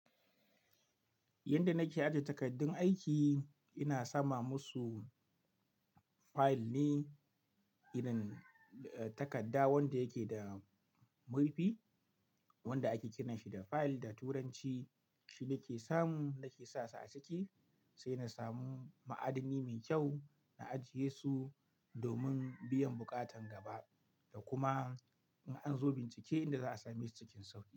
Yanda nake ajiye takardun aiki, ina sama musu fayil ne, irin takarda wanda yake da murfi wanda ake kira shi da fayil da turanci. Shi nake samu nake sa su a ciki sai na samu ma'adannai mai kyau na ajiye su domin biyan buƙatan gaba da kuma in an zo bincike inda za a sami su cikin sauƙi.